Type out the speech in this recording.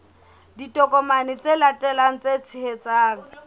ditokomane tse latelang tse tshehetsang